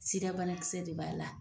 Sida banakisɛ de b'a la.